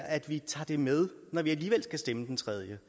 at vi tager det med når vi alligevel skal stemme den tredje